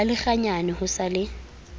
ba lekganyane ho sa le